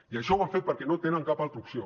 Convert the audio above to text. i això ho han fet perquè no tenen cap altra opció